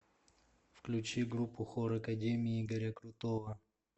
включи группу хор академии игоря крутого